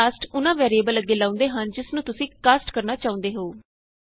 ਇਹ ਕਾਸਟ ਉਹਨਾਂ ਵੈਰੀਏਬਲ ਅੱਗੇ ਲਾਉਂਦੇ ਹਨ ਜਿਸ ਨੂੰ ਤੁਸੀਂ ਕਾਸਟ ਕਰਨਾ ਚਾਹੁੰਦੇ ਹੋ